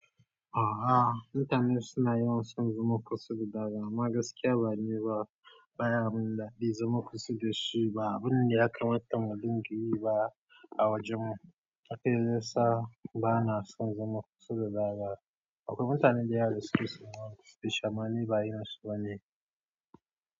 A'a, intanet suna yawan son zama kusur da daza amma gaskiya ba niba baya abun da zai zama kusa da shi ba abun da ya kamata mu dinga yi ba a wajen mu haka ya zasa ba na son zama kusa da daza. Akwai mutane da yawa da suke sumuni dashi amma ni ba irinsu bane.